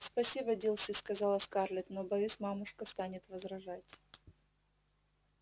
спасибо дилси сказала скарлетт но боюсь мамушка станет возражать